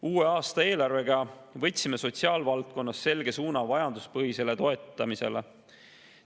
Uue aasta eelarvega võtsime sotsiaalvaldkonnas selge suuna vajaduspõhisele toetamisele.